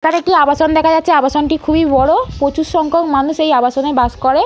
এখানে একটি আবাসন দেখা যাচ্ছে আবাসনটি খুবই বড়ো। প্রচুর সংখ্যাক মানুষ এই আবাসনএ বাস করে।